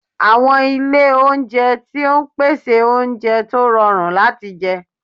Àwọn ilé oúnjẹ tó ń pèsè oúnjẹ tó rọrùn láti jẹ